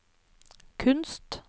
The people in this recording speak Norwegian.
kunst